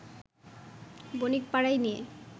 বণিকপাড়ায় নিয়ে